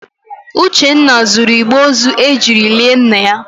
Uchenna zuru igbe ozu ejiri lie nna ya.